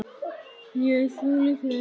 Jú, því ekki?